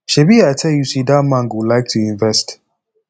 shebi i tell you say dat man go like to invest